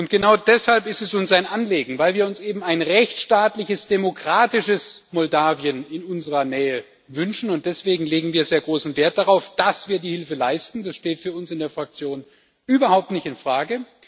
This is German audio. Genau deshalb ist es uns ein Anliegen, weil wir uns eben ein rechtsstaatliches demokratisches Moldau in unserer Nähe wünschen, und deswegen legen wir sehr großen Wert darauf, dass wir die Hilfe leisten das steht für uns in der Fraktion überhaupt nicht in Frage.